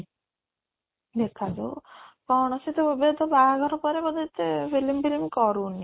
ଦେଖା ଯାଉ କ'ଣ ସେ ତ ଏବେ ତ ବାହାଘର ପରେ ବୋଧେ ସେ film କରୁନି